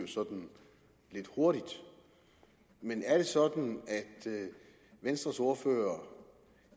sådan lidt hurtigt men er det sådan at venstres ordfører